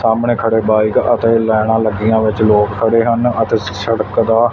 ਸਾਹਮਣੇ ਖੜੇ ਬਾਈਕ ਅਤੇ ਲਾਈਨਾਂ ਲੱਗੀਆਂ ਵਿੱਚ ਲੋਗ ਖੜੇ ਹਨ ਅਤੇ ਸ ਸੜਕ ਦਾ --